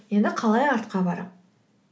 енді қалай артқа барамын